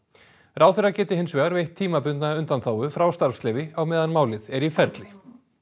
ráðherra geti hins vegar veitt tímabundna undanþágu frá starfsleyfi á meðan málið er í ferli